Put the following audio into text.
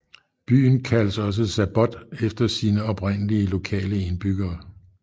Byen kaldes også Sabbot af sine oprindelige lokale indbyggere